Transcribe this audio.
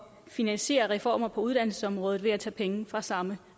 finansiere reformer på uddannelsesområdet ved at tage penge fra samme